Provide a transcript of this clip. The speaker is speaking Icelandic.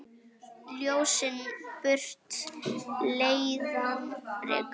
Ljósið burtu leiðann rekur.